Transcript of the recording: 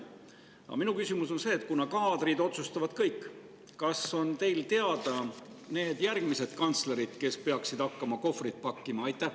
Aga minu küsimus on: kuna kaadrid otsustavad kõik, kas on teile teada järgmised kantslerid, kes peaksid hakkama kohvreid pakkima?